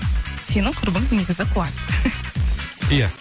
сенің құрбың негізі қуады иә